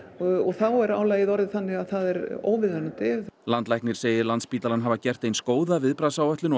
þá er álagið orðið þannig að það er óviðunandi landlæknir segir Landspítalann hafa gert eins góða viðbragðsáætlun og